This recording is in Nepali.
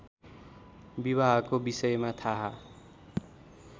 विवाहको विषयमा थाहा